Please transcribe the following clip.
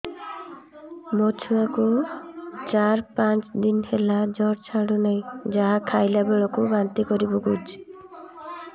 ମୋ ଛୁଆ କୁ ଚାର ପାଞ୍ଚ ଦିନ ହେଲା ଜର ଛାଡୁ ନାହିଁ ଯାହା ଖାଇଲା ବେଳକୁ ବାନ୍ତି କରି ପକଉଛି